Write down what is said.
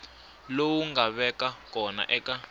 lowu nga vaka kona eka